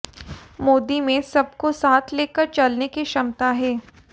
मोदी में सबको साथ लेकर चलने की क्षमता है